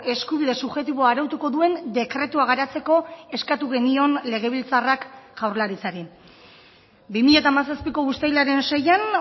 eskubide subjektiboa arautuko duen dekretua garatzeko eskatu genion legebiltzarrak jaurlaritzari bi mila hamazazpiko uztailaren seian